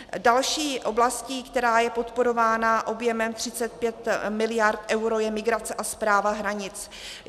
Další oblastí, která je podporována objemem 35 miliard eur, je migrace a správa hranic.